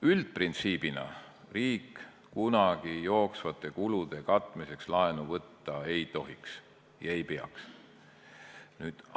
Üldprintsiibina riik kunagi jooksvate kulude katmiseks laenu võtta ei tohiks ega peaks võtma.